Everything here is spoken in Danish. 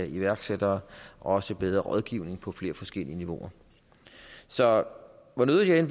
iværksættere og også bedre rådgivning på flere forskellige niveauer så hvor nødig jeg